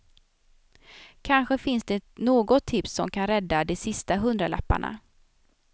Kanske finns det något tips som kan rädda de sista hundralapparna.